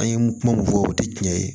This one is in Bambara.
An ye kuma mun fɔ o tɛ tiɲɛ ye